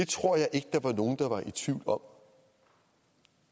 tror jeg ikke der var nogle der var i tvivl om